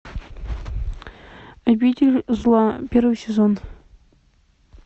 обитель зла первый сезон